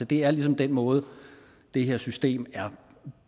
det er ligesom den måde det her system er